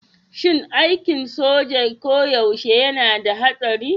Shin aikin soja koyaushe yana da haɗari?